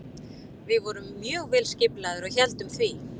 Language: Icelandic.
Við vorum mjög vel skipulagðir og héldum því.